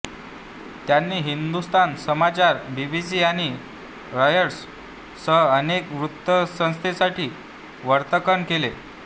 त्यांनी हिंदुस्थान समाचार बीबीसी आणि रॉयटर्स सह अनेक वृत्तसंस्थांसाठीही वार्तांकन केले